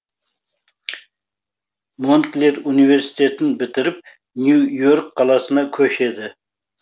монклер университетін бітіріп нью йорк қаласына көшеді